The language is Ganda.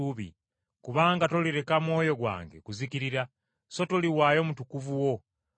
Kubanga tolireka mwoyo gwange kuzikirira so toliganya mutukuvu wo kuvunda.